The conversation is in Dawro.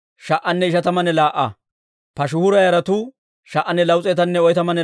Asaafa yara gideedda mazimuriyaa yes's'iyaawanttu 148;